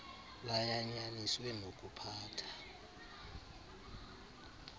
layan yaniswe nokuphatha